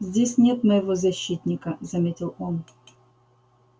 здесь нет моего защитника заметил он